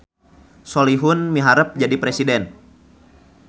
Solihun miharep jadi presiden